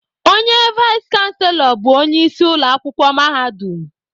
Onye vais chanselọ bụ onye isi ụlọakwụkwọ mahadum